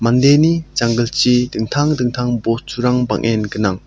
janggilchi dingtang dingtang bosturang bang·en gnang.